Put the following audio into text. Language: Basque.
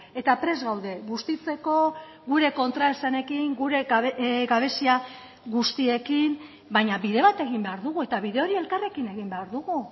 eta prest gaude bustitzeko gure kontraesanekin gure gabezia guztiekin baina bide bat egin behar dugu eta bide hori elkarrekin egin behar dugu